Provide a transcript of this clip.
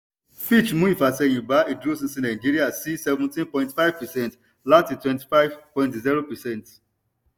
fitch mú ífàsẹ́yín ba ìdúróṣinṣin nàìjíríà sí seventeen point five percent láti twenty five point zero percent